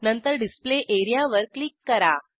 नंतर display area वर click करा